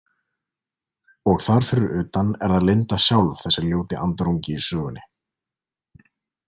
Og þar fyrir utan er það Linda sjálf, þessi ljóti andarungi í sögunni.